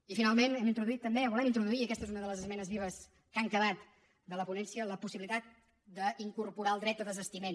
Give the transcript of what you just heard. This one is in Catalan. i finalment hem introduït també o volem introduir aquesta és una de les esmenes vives que han quedat de la ponència la possibilitat d’incorporar el dret a desistiment